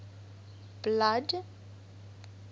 blood